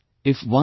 If 1